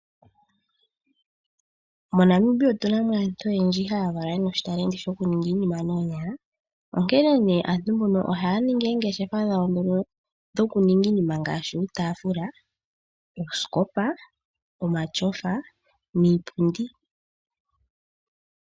MoNamibia otuna mo aantu oyendji haya valwa yena oshitalenti shokuninga iinima noonyala. Onkene nee aantu mbono ohaya ningi oongeshefa dhawo dhokuninga iinima ngashi uutaafula, uusikopa, omatyofa, niipundi.